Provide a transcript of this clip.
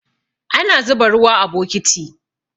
Ana zuba ruwa a bokiti